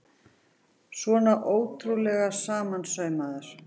Svona ótrúlega samansaumaður!